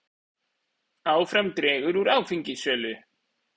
Áfram dregur úr áfengissölu